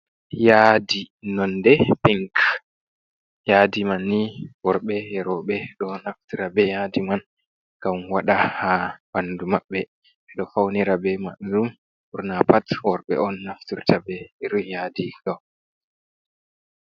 Yaadi nonde pink yaadi man ni worɓe eroɓe ɗo naftira be yadi man gam waɗa ha ɓandu maɓɓe, ɓe ɗo faunira be man ɗum ɓurna pat worɓe on naftirta be irunb yaadi ɗo.